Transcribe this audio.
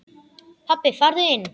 Pabbi farðu inn!